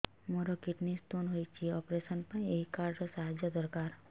ମୋର kidney stone ହଇଛି operation ପାଇଁ ଏହି କାର୍ଡ ର ସାହାଯ୍ୟ ଦରକାର